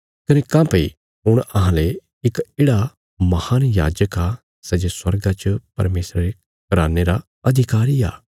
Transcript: कने काँह्भई हुण अहांले इक येढ़ा महान याजक आ सै जे स्वर्गा च परमेशरा रे घराने रा अधिकारी आ